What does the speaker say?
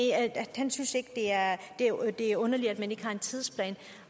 han synes ikke det er underligt at man ikke har en tidsplan